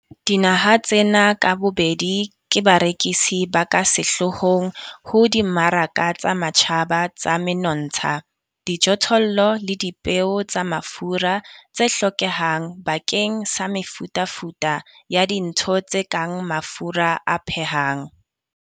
Dinaha tsena ka bobedi ke barekisi ba ka sehloohong ho dimmaraka tsa matjhaba tsa menontsha, dijothollo le dipeo tsa mafura tse hlokehang bakeng sa mefutafuta ya dintho tse kang mafura a phehang.